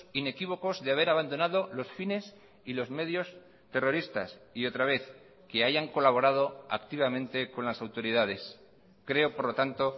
inequívocos de haber abandonado los fines y los medios terroristas y otra vez que hayan colaborado activamente con las autoridades creo por lo tanto